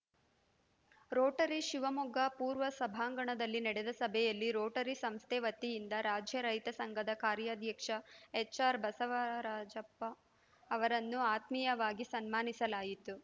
Rotary Shivamogga ಪೂರ್ವ ಸಭಾಂಗಣದಲ್ಲಿ ನಡೆದ ಸಭೆಯಲ್ಲಿ ರೋಟರಿ ಸಂಸ್ಥೆ ವತಿಯಿಂದ ರಾಜ್ಯ ರೈತ ಸಂಘದ ಕಾರ್ಯಾಧ್ಯಕ್ಷ ಎಚ್‌ಆರ್‌ ಬಸವರಾಜಪ್ಪ ಅವರನ್ನು ಆತ್ಮೀಯವಾಗಿ ಸನ್ಮಾನಿಸಲಾಯಿತು